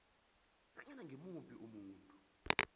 nanyana ngimuphi umuntu